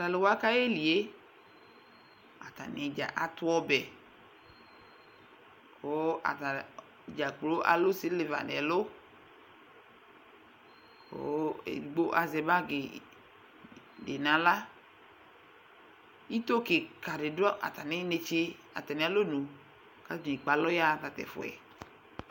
talʋwa kayɛlie atanidza atʋɔbɛ kʋʋ atanidza kplo alu siliva nɛlʋ kʋ ɛdigbo azɛ bagi dinala itoo kikaadi dʋ atani neetse atani alɔnʋ katani ekpe alɔyaha tatʋ ɛfuɛ